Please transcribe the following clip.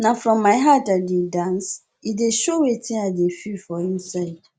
na from my heart i dey dance e dey show wetin i dey feel for inside